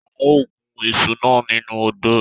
A o gun iṣu nà nínú odò